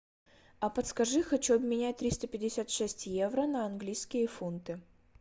а подскажи хочу обменять триста пятьдесят шесть евро на английские фунты